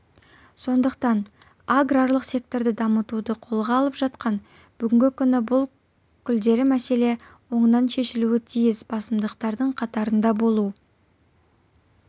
сондықтан аграрлық секторды дамытуды қолға алып жатқан бүгінгі күні бұл келелі мәселе оңынан шешілуі тиіс басымдықтардың қатарында болу